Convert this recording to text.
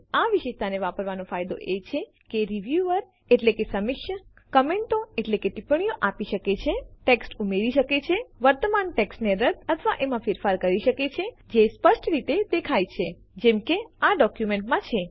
આ વિશેષતાને વાપરવાનો ફાયદો એ છે કે રીવ્યુઅર એટલે કે સમીક્ષક કમેન્ટો ટિપ્પણીઓ આપી શકે છે ટેક્સ્ટ ઉમેરી શકે છે વર્તમાન ટેક્સ્ટને રદ્દ અથવા એમાં ફેરફાર કરી શકે છે જે સ્પષ્ટ રીતે દેખાય છે જેમ કે આ જ ડોક્યુમેન્ટમાં છે